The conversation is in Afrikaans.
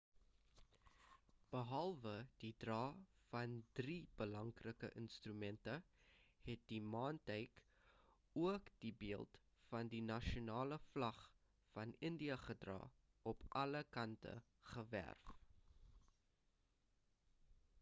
behalwe die dra van drie belangrike instrumente het die maantuig ook die beeld van die nasionale vlag van india gedra op alle kante geverf